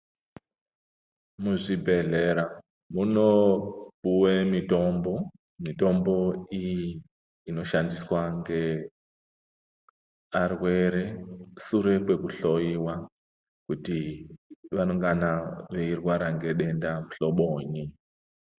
Muzvibhedhlera muno puwa mitombo iyi inoshandiswa ngearwere sure nekuhloiwa kuti vanongana veirwara ngedenda muhlobonyi.